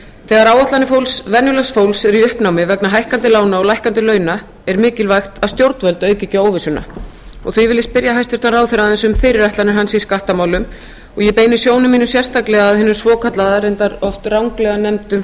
þegar áætlanir venjulegs fólks eru í uppnámi vegna hækkandi lána og lækkandi launa er mikilvægt að stjórnvöld auki ekki á óvissuna því vil ég spyrja hæstvirtan ráðherra aðeins um fyrirætlanir hans í skattamálum ég beini sjónum mínum sérstaklega að hinu svokallaða reyndar oft ranglega nefnda